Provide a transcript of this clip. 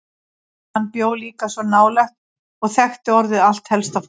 Hann bjó líka svo nálægt og þekkti orðið allt helsta fólkið.